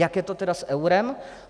Jak je to tedy s eurem?